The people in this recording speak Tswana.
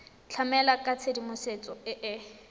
tlamela ka tshedimosetso e e